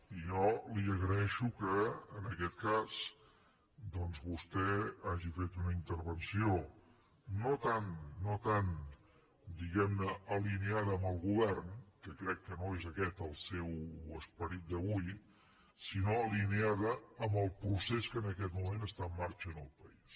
i jo li agraeixo que en aquest cas vostè hagi fet una intervenció no tant diguem ne alineada amb el govern que crec que no és aquest el seu esperit d’avui sinó alineada amb el procés que en aquest moment està en marxa en el país